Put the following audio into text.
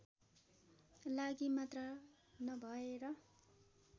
लागि मात्र नभएर